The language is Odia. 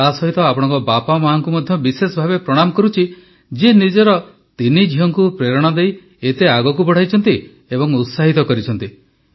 ତା ସହିତ ଆପଣଙ୍କ ବାପମା ଙ୍କୁ ମଧ୍ୟ ବିଶେଷ ଭାବେ ପ୍ରଣାମ କରୁଛି ଯିଏ ନିଜର ତିନି ଝିଅଙ୍କୁ ପ୍ରେରଣା ଦେଇ ଏତେ ଆଗକୁ ବଢ଼ାଇଛନ୍ତି ଏବଂ ଉତ୍ସାହିତ କରିଛନ୍ତି